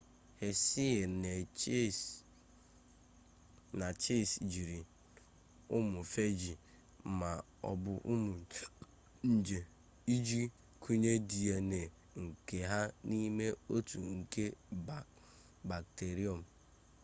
hershey na chase jiri ụmụ feeji ma ọ bụ ụmụ nje iji kụnye dna nke ha n'ime otu nje bakterịọm